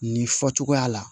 Nin fɔ cogoya la